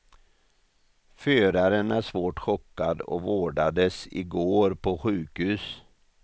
Föraren är svårt chockad och vårdades i går på sjukhus.